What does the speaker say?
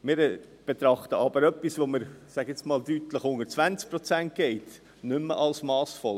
Wir betrachten aber etwas, das deutlich unter 20 Prozent geht, als nicht mehr massvoll.